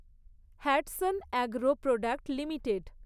Hatsun Agro Product limited